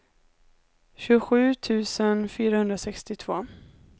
tjugosju tusen fyrahundrasextiotvå